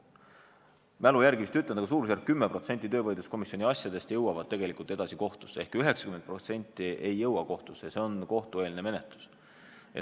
Mälu järgi ütlen, et suurusjärgus 10% töövaidluskomisjoni asjadest jõuab tegelikult kohtusse ehk 90% ei jõua kohtusse, vaid on kohtueelne menetlus.